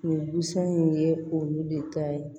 Nin busan in ye olu de ta ye